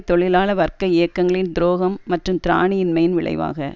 தொழிலாள வர்க்க இயக்கங்களின் துரோகம் மற்றும் திராணி இன்மையின் விளைவாக